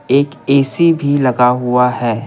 एक ए_सी भी लगा हुआ है।